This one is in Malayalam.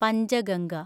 പഞ്ചഗംഗ